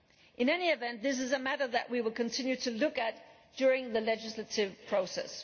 In any event, this is a matter that we will continue to look at during the legislative process.